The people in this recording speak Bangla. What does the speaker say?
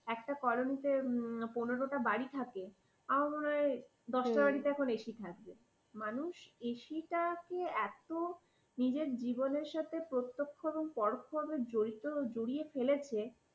একটা কলোনিতে পনের টা বাড়ি থাকে আমার মনে হয় দশটা বাড়িতে এখন ac থাকবে। মানুষ ac টাকে এত নিজের জীবনের সাথে প্রত্যক্ষ এবং পরোক্ষ ভাবে জড়িত, জড়িয়ে ফেলেছে।